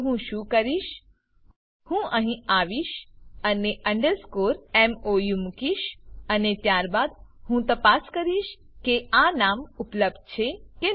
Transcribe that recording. તો હું શું કરીશ હું અહીં આવીશ અને અંડરસ્કોર મોઉ મુકીશ અને ત્યારબાદ હું તપાસ કરીશ કે આ નામ ઉપલબ્ધ છે કે નહી